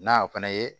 N'a fana ye